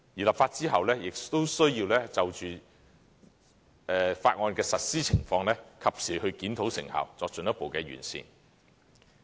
立法之後，我們亦需要就條例的實施情況，及時檢討成效，作進一步的完善。